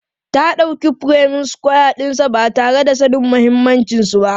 Ta dauki furemin sukwaya ɗinsa ba tare da sanin mahimmancinsa ba.